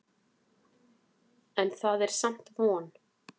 En það er samt von.